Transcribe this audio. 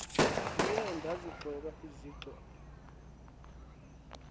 ndiye ndazigcoba izixhobo